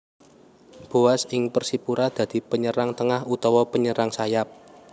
Boaz ing Persipura dadi penyerang tengah utawa penyerang sayap